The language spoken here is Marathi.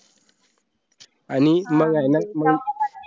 आणि मंग